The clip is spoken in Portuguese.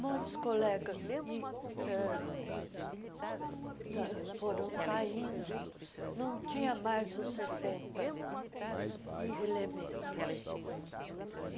Muitos colegas já ta foram saindo, não tinha mais os sessenta elementos.